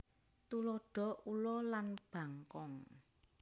Tuladha ula lan bangkong